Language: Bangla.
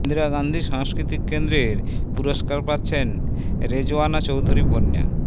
ইন্দিরা গান্ধী সাংস্কৃতিক কেন্দ্রের পুরস্কার পাচ্ছেন রেজওয়ানা চৌধুরী বন্যা